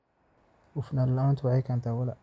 Hufnaan la'aantu waxay keentaa walaac.